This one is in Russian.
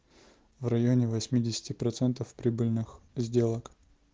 в районе восьмидесяти процентов прибыльных сделок